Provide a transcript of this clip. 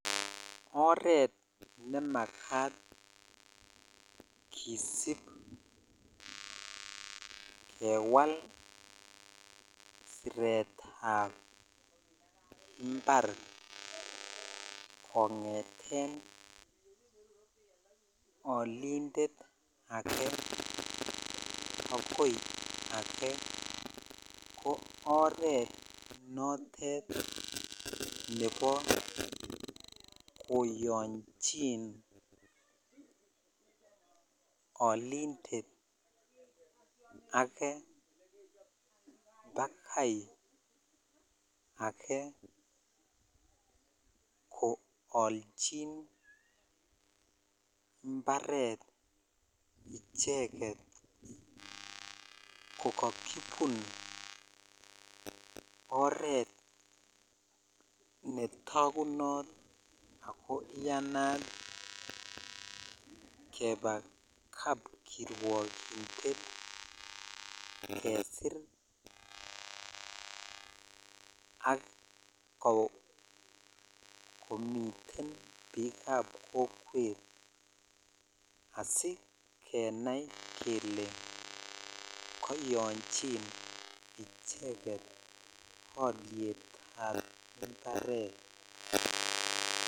Oret nemakat kisib kewal seretab impar kongeten olindet akoi ake ko oret notet nebo koyochin olindet ake bakai akei koolchin imparet icheket ko kakibunoret netakunot ako iyanat kebaa kapkirwokindet kesir ak komiten biikab kokwet asikenai kele koyochin icheket olyetab imparet.